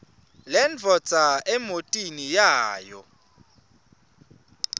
lendvodza emotini yayo